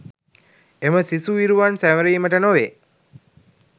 එම සිසු විරුවන් සැමරීමට නොවේ